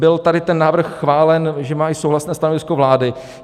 Byl tady ten návrh chválen, že má i souhlasné stanovisko vlády.